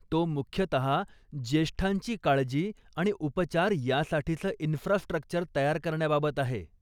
तो मुख्यतः ज्येष्ठांची काळजी आणि उपचार यासाठीचं इन्फ्रास्ट्रक्चर तयार करण्याबाबत आहे.